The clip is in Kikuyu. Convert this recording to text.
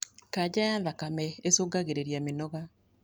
kaja ya thakame ĩcũngagĩrĩrĩa mĩnoga